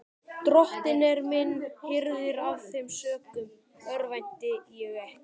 Drottinn er minn hirðir, af þeim sökum örvænti ég ekki.